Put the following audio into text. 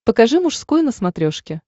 покажи мужской на смотрешке